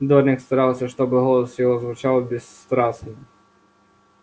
дорник старался чтобы голос его звучал бесстрастно